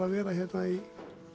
að vera hérna í